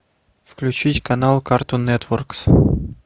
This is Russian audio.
включить канал картун нетворкс